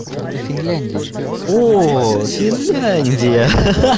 ну это финляндия же о финляндия ха-ха